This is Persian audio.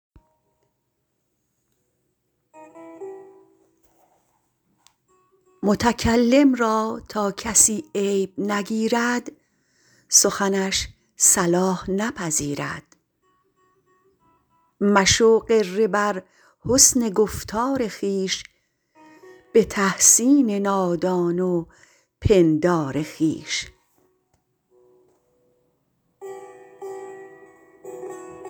متکلم را تا کسی عیب نگیرد سخنش صلاح نپذیرد مشو غره بر حسن گفتار خویش به تحسین نادان و پندار خویش